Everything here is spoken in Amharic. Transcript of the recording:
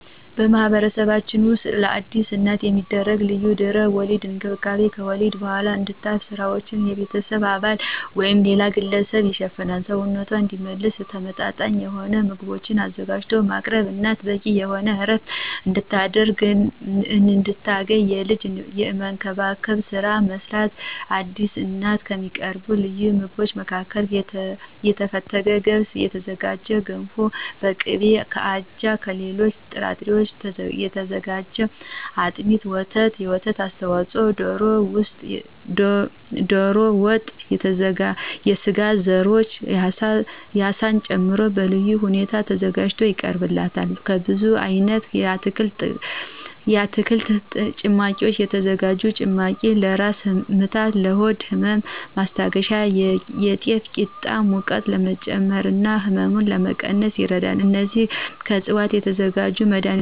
በማህበረሰባችን ውስጥ ለአዲስ እናት የሚደረግ ልዩ የድህረ ወሊድ እንክብካቤ ከወሊድ በኋላ እንድታርፍ ስራዎችን የቤተሰብ አባል ወይም ሌላ ግለሰብ ይሸፍናል፣ ሰውነቷ እንዲመለስ ተመመጣጣኝ የሆኑ ምግቦችን አዘጋጅቶ ማቅረብ፣ እናት በቂ የሆነ ዕረፍት እንድታገኝ ልጅን የመንከባከብን ስራ መስራት። ለአዲስ እናት ከሚቀርቡ ልዩ ምግቦች መካከል ከተፈተገ ገብስ የተዘጋጀ ገንፎ በቅቤ፣ ከአጃና ከሌሎች ጥራጥሬዎች የተዘጋጀ አጥሚት፣ ወተትና የወተት ተዋጽኦዎች፣ ዶሮ ወጥና የስጋ ዘሮች አሳን ጨምሮ በልዩ ሁኔታ ተዘጋጅቶ ይቀርብላታል። ከብዙ አይነት የአትክልት ጭማቂ የተዘጋጀ ጭማቂ ለራስ ምታትና ለሆድ ህመም ማስታገሻ፣ የጤፍ ቂጣ ሙቀት ለመጨመርና ህመም ለመቀነስ ይረዳል። እነዚህም ከዕፅዋት ከሚዘጋጁ መድሀኒቶች ውስጥ መጥቀስ ይቻላል። የአካላዊ ገደቦችም ውስጥ ከአካል እንቅስቃሴ ተወስኖ መቆየት።